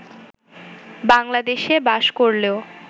বাংলাদেশে বাস করলেও